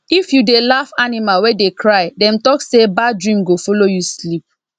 if you dey laugh animal wey dey cry dem talk say bad dream go follow you sleep